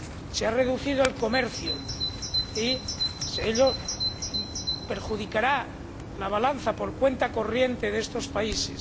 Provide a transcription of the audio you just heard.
Se ha reducido el comercio, lo que perjudicará a la balanza por cuenta corriente de estos países.